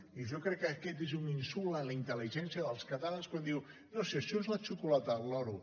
i jo crec que aquest és un insult a la intel·ligència dels catalans quan diu no si això és la xocolata del lloro